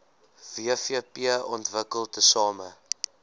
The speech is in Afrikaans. wvp ontwikkel tesame